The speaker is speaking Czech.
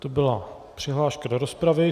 To byla přihláška do rozpravy.